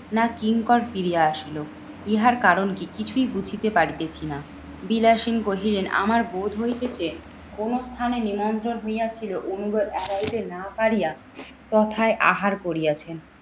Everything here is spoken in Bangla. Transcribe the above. না কিঙ্কর ফিরিয়া আসিলো। ইহার কারণ কি কিছুই বুঝিতে পারিতেছিনা? বিলাসিন কহিলেন আমার বোধ হইতেছে কোনো স্থানে নিমন্ত্রণ হইয়াছিল এড়াইতে না পারিয়া তথায় আহার করিয়াছেন।